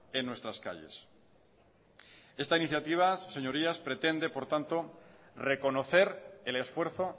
en nuestras calles esta iniciativa señorías pretende por tanto reconocer el esfuerzo